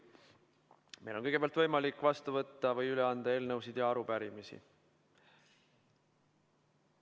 Kõigepealt on meil võimalik vastu võtta või üle anda eelnõusid ja arupärimisi.